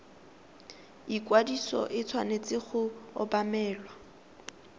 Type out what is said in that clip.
ikwadiso e tshwanetse go obamelwa